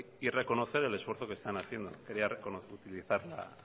y reconocer el esfuerzo que están haciendo quería reconocer y utilizar